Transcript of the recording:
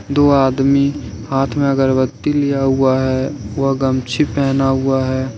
दो आदमी हाथ में अगरबत्ती लिया हुआ है वह गमछी पहना हुआ है।